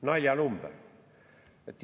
Naljanumber!